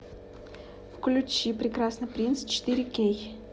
включи прекрасный принц четыре кей